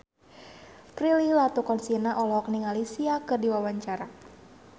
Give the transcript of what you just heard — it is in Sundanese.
Prilly Latuconsina olohok ningali Sia keur diwawancara